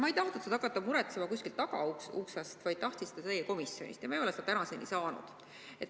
Ma ei tahtnud seda hakata muretsema kuskilt tagauksest, vaid tahtsin seda saada teie komisjonist, aga ma ei ole seda tänaseni saanud.